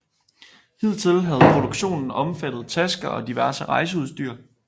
Hidtil havde produktionen omfattet tasker og diverse rejseudstyr